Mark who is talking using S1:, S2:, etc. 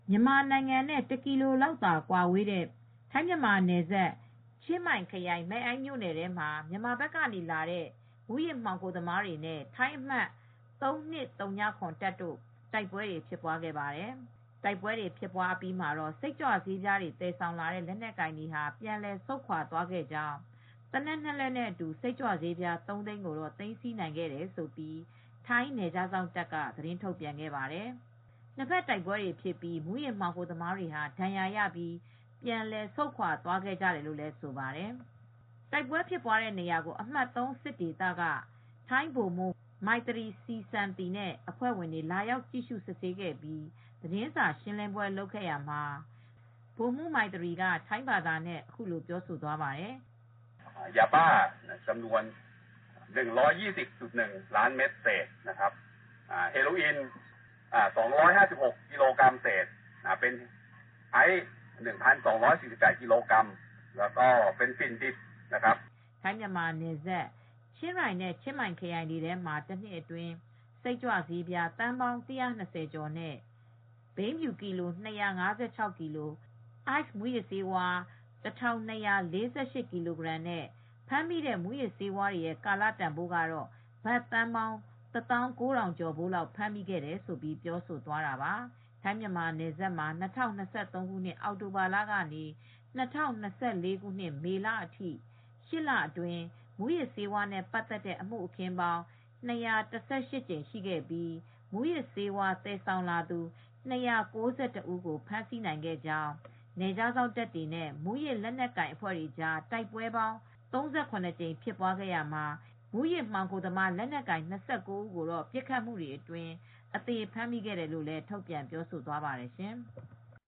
S1: မြန်မာနိုင်ငံနဲ့တကီလိုလောက်ပဲကွာတဲ့ ထိုင်း-မြန်မာနယ်စပ် ချင်းမိုင်ခရိုင် မဲ့အိုင်းမြို့နယ်ထဲမှာ မြန်မာဘက်ကနေလာတဲ့ မူးယစ်မှောင်ခိုသမားတွေနဲ့ ထိုင်းအမှတ် ၃၂၀၇ တပ်တို့တိုက်ပွဲဖြစ်ခဲ့ပါတယ်။ တိုက်ပွဲအပြီးမှာ စိတ်ကြွဆေးသယ်ဆောင်လာတဲ့ လက်နက်ကိုင်တွေက ပြန်လည်ဆုတ်ခွာသွားခဲ့ ကြကြောင်း၊ သေနတ်နှစ်လက်နဲ့အတူ စိတ်ကြွပြားသုံးသိန်းကို သိမ်းဆည်းနိုင်ခဲ့တယ်လို့ ထိုင်းနယ်ခြားစောင့်ကထုတ်ပြန်ခဲ့ပါတယ်။ နှစ်ဘက်အပြန်အလှန်ပစ်ခတ်မှုအတွင်း မူးယစ်မှောင်ခိုသမားတွေဟာ ဒဏ်ရာရပြီး ပြန်လည်ဆုတ်ခွါသွားခဲ့တယ်လို့လည်း ဆိုပါတယ်။ တိုက်ပွဲဖြစ်တဲ့နေရာကို အမှတ် ၃ စစ်ဒေသက ထိုင်းဗိုလ်မှူး Colonel Maitri Srisanthia (မိုက်သရီ စီစန်သီ) နဲ့ အဖွဲ့ဝင်တွေ လာရောက် ကြည့်ရှုစစ်ဆေးခဲ့ပြီး သတင်းစာရှင်းလင်းပွဲလုပ်ခဲ့ရာမှာ Colonel Maitri က ထိုင်းဘာသာနဲ့အခုလိုပြောသွားပါတယ်။
S2: "ထိုင်း-မ
S1: ြန်မာနယ်စပ် ချင်းရိုင်နဲ့ချင်းမိုင်ခရိုင်တွေထဲမှာ တနှစ်အတွင်း စိတ်ကြွဆေးပြား သန်းပေါင်း ၁၂၀ ကျော်နဲ့ ဘိန်းဖြူ ၂၅၆ ကီလို၊ Ice မူးယစ်ဆေး တတန်ကျော် (၁၂၄၈) ကီလိုဂရမ်နဲ့ ဖမ်းမိမူးယစ်ဆေးတွေရဲ့ ကာလတန်ဘိုးကတော့ ဘတ်သန်းပေါင်း ၁၉,၀၀၀ (တသောင်းကိုးထောင်) ကျော် ဖိုးလောက်ဖမ်းမိခဲ့တယ်လို့ ပြောသွားခဲ့တာပါ၊ ထိုင်း-မြန်မာနယ်စပ်မှာ ၂၀၂၃ အောက်တိုဘာကနေ ၂၀၂၄ ခုနှစ် မေလအထိ ၈ လအတွင်း မူးယစ်ဆေးဝါးနဲ့ပတ်သက်တဲ့အမှုအခင်းပေါင်း ၂၁၈ ကြိမ်ရှိခဲ့ပြီး မူးယစ်သယ်ဆောင်သူ ၂၉၁ ဦးကိုဖမ်းဆီးနိုင်ခဲ့ကြောင်း နယ်ခြားစောင့်တပ်တွေနဲ့ မူးယစ်လက်နက်ကိုင်တွေကြား တိုက်ပွဲပေါင်း ၃၇ ကြိမ်ဖြစ်ပွားခဲ့ရာမှာ မူးယစ်မှောင်ခိုသမားလက်နက်ကိုင် ၂၉ ဦးကိုတော့ ပစ်ခတ်မှုတွေအတွင်း အသေဖမ်းမိခဲ့တယ်လို့ ထုတ်ပြန်ပြောဆိုသွားပါတယ်ရှင်။